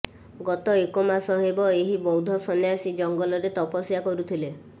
ଗତ ଏକ ମାସ ହେବ ଏହି ବୌଦ୍ଧ ସନ୍ୟାସୀ ଜଙ୍ଗଲରେ ତପସ୍ୟା କରୁଥିଲେ